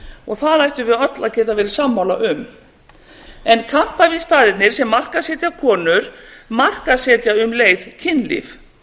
og það ættum við öll að geta verið sammála um en kampavínsstaðirnir sem markaðssetja konur markaðssetja um leið kynlíf